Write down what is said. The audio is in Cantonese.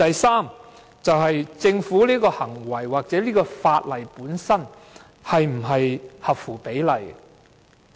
此外，政府的這種行為或這項法例本身是否合乎常理？